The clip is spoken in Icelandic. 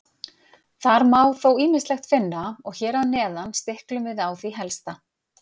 Þar má þó ýmislegt finna og hér að neðan stiklum við á því helsta.